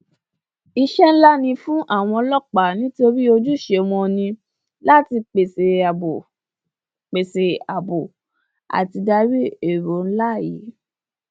iṣẹ nlá ni fún àwọn ọlọpàá nítorí ojúṣe wọn ni láti pèsè àbò pèsè àbò àti ìdarí èrò nlá yìí